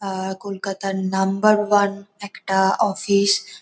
আহ কলকাতার number one একটা office.